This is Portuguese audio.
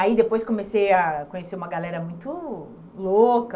Aí depois comecei a conhecer uma galera muito louca,